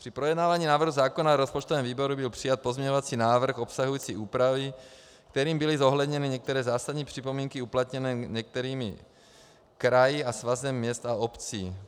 Při projednávání návrhu zákona v rozpočtovém výboru byl přijat pozměňovací návrh obsahující úpravy, kterým byly zohledněny některé zásadní připomínky uplatněné některými kraji a Svazem měst a obcí.